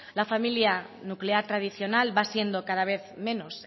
la familia nuclear tradicional va siendo cada vez menos